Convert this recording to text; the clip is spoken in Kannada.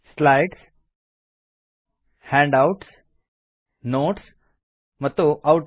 ಸ್ಲೈಡ್ಸ್ ಹ್ಯಾಂಡ್ ಔಟ್ಸ್ ನೋಟ್ಸ್ ಮತ್ತು ಔಟ್ ಲೈನ್